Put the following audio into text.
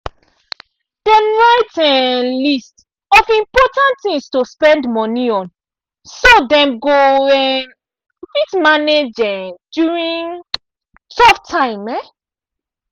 dem write um list of important things to spend money on so dem go um fit manage um during tough time.